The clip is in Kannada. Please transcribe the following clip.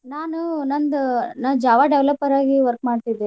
ನಾನು ನಂದ್ ನಾ Java developer ಆಗಿ work ಮಾಡ್ತಿದ್ದೆರೀ.